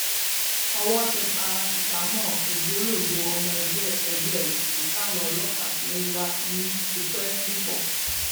owó tẹ paracetamol ògbólógbòó ọmọ ẹgbẹ ẹgbẹ òkùnkùn táwọn ọlọpàá ti ń wá tipẹ nifo